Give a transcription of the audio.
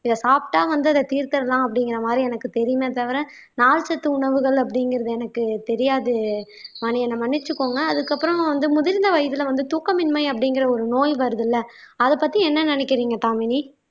இத சாப்பிட்டா வந்து அத தீர்த்தரலாம் அப்படிங்கிற மாதிரி எனக்கு தெரியுமே தவிர நார்ச்சத்து உணவுகள் அப்படிங்கிறது எனக்கு தெரியாது வாணி என்னை மன்னிச்சுக்கோங்க அதுக்கப்புறம் வந்து முதிர்ந்த வயதுல வந்து தூக்கமின்மை அப்படிங்கிற ஒரு நோய் வருதுல்ல அதைப் பத்தி என்ன நினைக்கிறீங்க தாமினி